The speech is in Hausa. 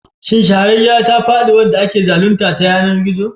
Shin shahararriyar ta faɗi wanda ake zalunta ta yanar gizo?